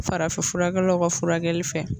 Farafinfurakɛlaw ka furakɛli fɛ